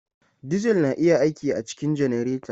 Diesel na iya aiki a cikin janareta.